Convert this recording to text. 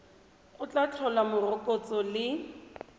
go tla tlhola morokotso le